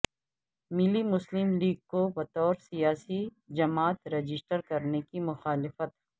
ملی مسلم لیگ کو بطور سیاسی جماعت رجسٹر کرنے کی مخالفت